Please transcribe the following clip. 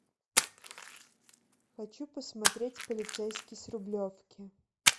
хочу посмотреть полицейский с рублевки